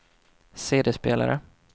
CD-spelare